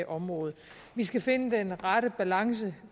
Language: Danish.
område vi skal finde den rette balance